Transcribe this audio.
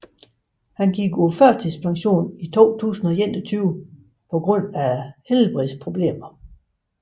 Han gik på førtidspension i 2021 på grund af helbredsproblemer